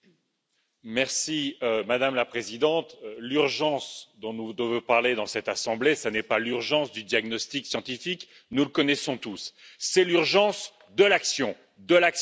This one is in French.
Madame la Présidente, l'urgence dont nous devons parler dans cette assemblée, ce n'est pas l'urgence du diagnostic scientifique nous le connaissons tous c'est l'urgence de l'action, de l'action, de l'action, de l'action!